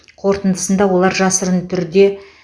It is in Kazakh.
қортындысында олар жасырын түрде